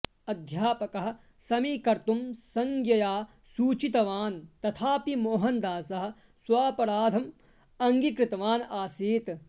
अध्यापकः समीकर्तुं संज्ञया सूचितवान् तथापि मोहनदासः स्वापराधम् अङ्गीकृतवान् आसीत्